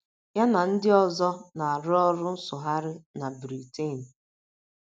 Ya na ndị ọzọ na - arụ ọrụ nsụgharị na Briten.